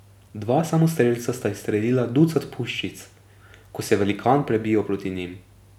Dva samostrelca sta izstrelila ducat puščic, ko se je velikan prebijal proti njim.